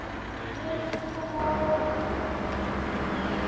Lillý: Kom á óvart?